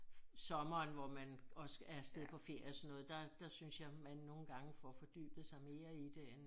Sommeren hvor man også er afsted på ferie og sådan noget der der synes jeg man nogen gange får fordybet sig mere i det end